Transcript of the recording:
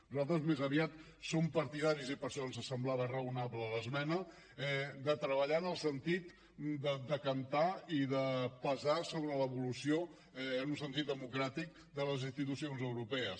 nosaltres més aviat som partidaris i per això ens semblava raonable l’esmena de treballar en el sentit de decantar i de pesar sobre l’evolució en un sentit democràtic de les institucions europees